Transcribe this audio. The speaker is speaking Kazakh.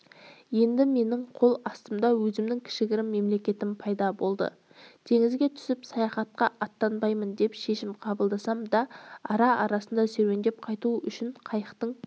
енді менің қол астымда өзімнің кішігірім мемлекетім пайда болды теңізге түсіп саяхатқа аттанбаймын деп шешім қабылдасам да ара-арасында серуендеп қайту үшін қайықтың